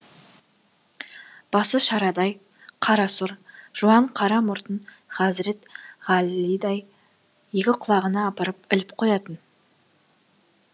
басы шарадай қарасұр жуан қара мұртын ғазірет ғалидай екі құлағына апарып іліп қоятын